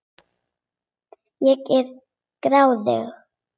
Ég er gráðug.